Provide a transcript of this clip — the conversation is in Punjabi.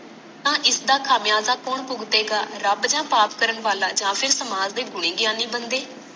ਤਾਂ ਇਸਦਾ ਖਾਮਿਆਜਾ ਕੌਣ ਭੁਗਤੇਗਾ ਰੱਬ ਯਾ ਪਾਪ ਕਰਨ ਵਾਲਾ ਯਾ ਫੇਰ ਸਮਾਜ ਦੇ ਗੁਣੀ ਗਿਆਨੀ ਬੰਦੇ